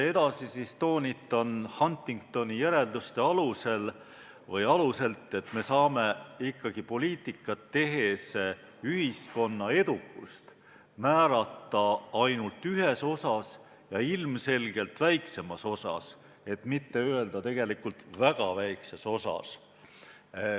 Edasi ma toonitan Huntingtoni järeldustest lähtudes, et me saame ikkagi poliitikat tehes ühiskonna edukust määrata ainult ühes osas, ja ilmselgelt väiksemas osas, et mitte öelda, tegelikult väga väikeses osas.